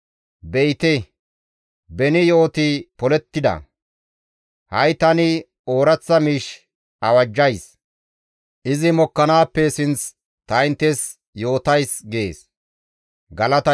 Be7ite beni yo7oti polettida; ha7i tani ooraththa miish awajjays; izi mokkanaappe sinth ta inttes yootays» gees.